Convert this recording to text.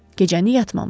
Gecəni yatmamışdı.